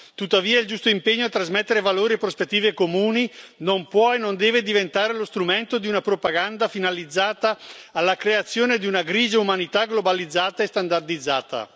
Tuttavia il giusto impegno a trasmettere valori e prospettive comuni non può e non deve diventare lo strumento di una propaganda finalizzata alla creazione di una grigia umanità globalizzata e standardizzata.